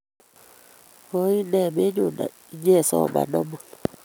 Koinee menyo inyisoman amut?